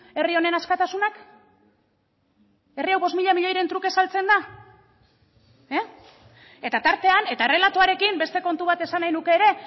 herri honen askatasunak herri hau bost mila milioiren truke saltzen da eta tartean eta errelatoarekin beste kontu bat esan nahiko nuke ere